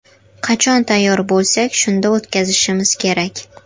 Qachon tayyor bo‘lsak, shunda o‘tkazishimiz kerak.